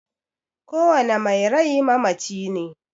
kowane mai rai mamaci ne.